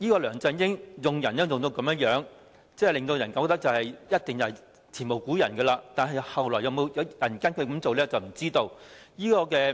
梁振英用人的方式，我覺得一定是前無古人，但日後會否有人跟隨他的做法，就不得而知了。